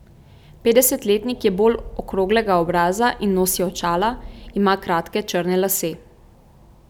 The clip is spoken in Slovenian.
Petdesetletnik je bolj okroglega obraza in nosi očala, ima kratke črne lase.